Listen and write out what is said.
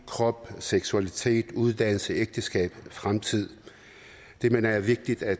krop og seksualitet uddannelse ægteskab og fremtid det mener jeg er vigtigt at